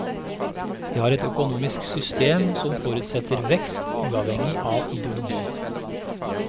Vi har et økonomisk system som forutsetter vekst, uavhengig av ideologi.